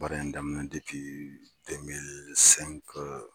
Baara in daminɛ